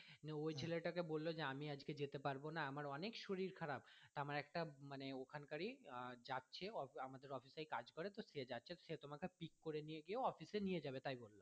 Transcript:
নিয়ে ওই ছেলে টা কে বললো যে আমি আজকে যেতে পারবো না আমার অনেক শরীর খারাপ আমার একটা মানে ওখানকার ই আহ যাচ্ছে আমাদের office এই কাজ করে তো সে যাচ্ছে সে তোমাকে pick করে নিয়ে গিয়েও office এ তোমাকে নিয়ে যাবে তাই বললো।